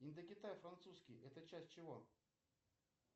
индокитай французский это часть чего